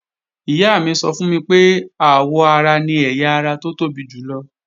Ìyá mi sọ fún mi pé àwọ ara ni ẹ̀yà ara tó tóbi jùlọ